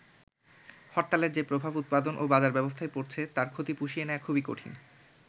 হরতালের যে প্রভাব উৎপাদন ও বাজার ব্যবস্থায় পড়ছে, তার ক্ষতি পুষিয়ে নেয়া খুবই কঠিন।